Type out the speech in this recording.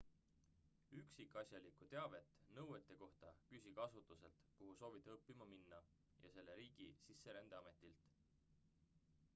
üksikasjalikku teavet nõuete kohta küsige asutuselt kuhu soovite õppima minna ja selle riigi sisserändeametilt